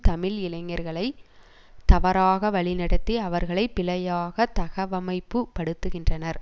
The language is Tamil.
தமிழ் இளைஞர்களை தவறாக வழிநடத்தி அவர்களை பிழையாக தகவமைப்புபடுத்துகின்றனர்